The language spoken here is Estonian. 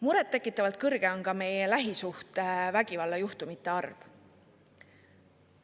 Muret tekitavalt kõrge on ka meie lähisuhtevägivalla juhtumite arv.